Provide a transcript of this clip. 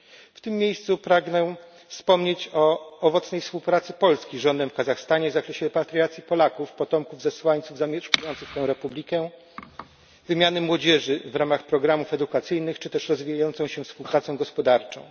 W tym miejscu pragnę wspomnieć o owocnej współpracy Polski z rządem w Kazachstanie w zakresie repatriacji Polaków potomków zesłańców zamieszkujących tę republikę, wymiany młodzieży w ramach programów edukacyjnych czy też rozwijającej się współpracy gospodarczej.